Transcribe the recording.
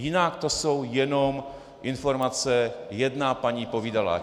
Jinak to jsou jenom informace jedna paní povídala.